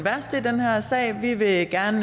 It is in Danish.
her sag vi vil gerne